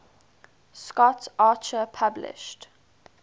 scott archer published